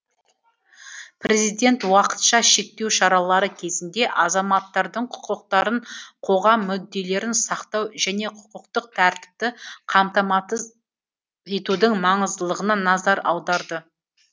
президент уақытша шектеу шаралары кезінде азаматтардың құқықтарын қоғам мүдделерін сақтау және құқықтық тәртіпті қамтамасыз етудің маңыздылығына назар аударды